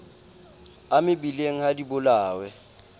a mebileng ha di bolawe